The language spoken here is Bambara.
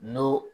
N'o